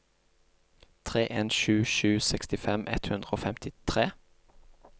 tre en sju sju sekstifem ett hundre og femtitre